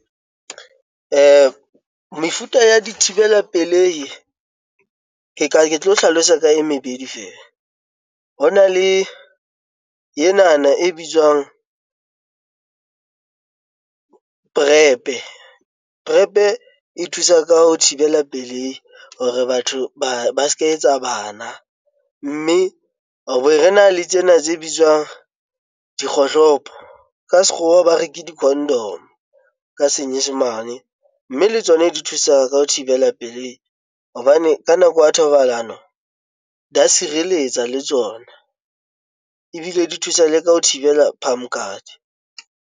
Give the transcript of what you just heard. Mefuta ya dithibela pelehi ka ke tlo hlalosa ka metuta e mebedi fela ho na le enana e bitswang , e thusa ka ho thibela pelehi hore batho ba ba se ka etsa bana, mme abe rena le tsena tse bitswang dikgohlopo ka sekgowa, ba reke di-condom ka Senyesemane mme le tsona di thusa ka ho thibela pelehi hobane ka nako ya thobalano, di a sireletsa le tsona ebile di thusa le ka ho thibela phamokate.